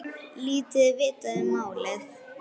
Lítið er vitað um málið.